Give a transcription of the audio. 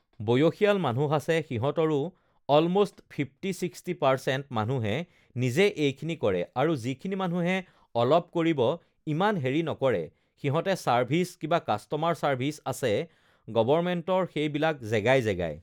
বয়সীয়াল মানুহ আছে সিহঁতৰো অলম'ষ্ট ফিফটি ছিক্সটি পাৰ্চেন্ট মানুহে নিজে এইখিনি কৰে আৰু যিখিনি মানুহে অলপ কৰিব ইমান হেৰি নকৰে সিহঁতে চাৰ্ভিছ কিবা কাষ্টমাৰ চাৰ্ভিছ আছে গৱৰ্মেন্টৰ সেইবিলাক জেগাই জেগাই